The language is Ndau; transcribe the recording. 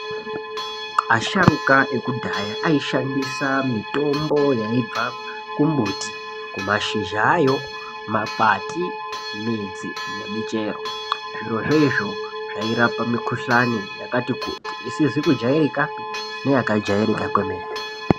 Asharuka ekudhaya aishandisa mitombo yaibva kumbuti, kumashizha ayo, makwati, midzi nemichero. Zvirozvo izvo zvairapa mikuhlani yakati kuti, isizi kujarikapi neyakajairika kwemene.